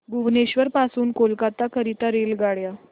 भुवनेश्वर पासून कोलकाता करीता रेल्वेगाड्या